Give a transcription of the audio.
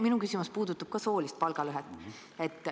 Minu küsimus puudutab ka soolist palgalõhet.